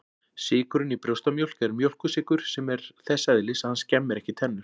Sykurinn í brjóstamjólk er mjólkursykur sem er þess eðlis að hann skemmir ekki tennur.